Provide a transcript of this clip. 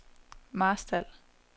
Marstal